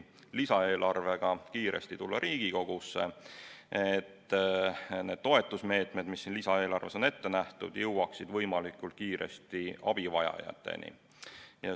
Lisaeelarvega sooviti kiiresti Riigikogusse tulla, et need toetusmeetmed, mis siin lisaeelarves on ette nähtud, jõuaksid võimalikult kiiresti abivajajateni.